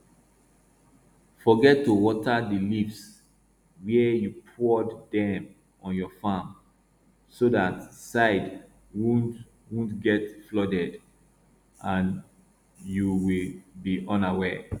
forget to water the leaves where you poured them on your farm so that side wont wont get flooded and youll be unaware